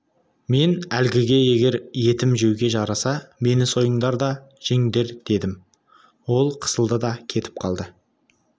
мен әлгіге егер етім жеуге жараса мені сойыңдар да жеңдер дедім ол қысылды да кетіп қалды